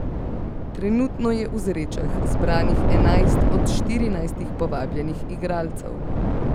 Trenutno je v Zrečah zbranih enajst od štirinajstih povabljenih igralcev.